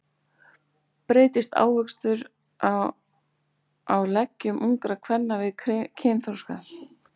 Breytist hárvöxtur á leggjum ungra kvenna við kynþroska?